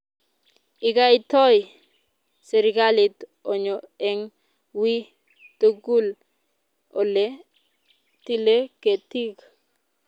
Ikaitoy serikalit onyo eng' wiy tugul ole tile ketik